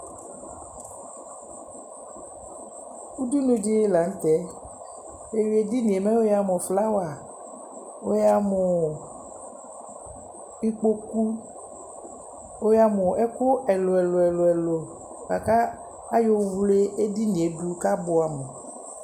Udunu dɩ la nʋ tɛ Wʋeyi edini yɛ mɛ wʋyamʋ flawa, wʋyamʋ ikpoku, wʋayamʋ ɛkʋ ɛlʋ-ɛlʋ bʋa kʋ ayɔwle edini yɛ dʋ kʋ abʋɛamʋ